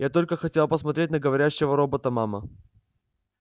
я только хотела посмотреть на говорящего робота мама